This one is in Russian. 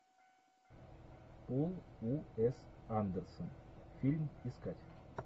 пол уэс андерсон фильм искать